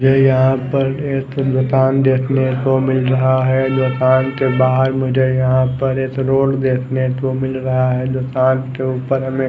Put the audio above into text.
ये यहाँ पर एक दुकान देखने को मिल रहा है दुकान के बाहर मुझे यहाँ पर रोड देखने को मिल रहा है दुकान के ऊपर हमें--